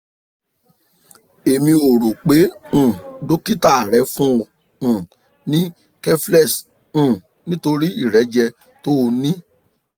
èmi ò rò pé um dókítà rẹ fún ọ um ní keflex um nítorí ìrẹ́jẹ tó o ní